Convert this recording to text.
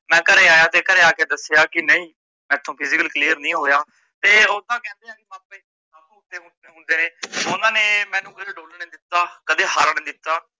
ਮੈ ਘਰੇ ਆਇਆ ਤੇ ਘਰੇ ਆਕੇ ਦਸਿਆ ਕੀ ਨਹੀਂ ਮੈਥੋਂ physical clear ਨੀ ਹੋਇਆ ਤੇ ਓਨਾ ਨੇ ਮੈਂਨੂੰ ਹੋਨਸਲਾ ਦਿੱਤਾ ਕਦੇ ਹਾਰਨ ਨੀ ਦਿੱਤਾ।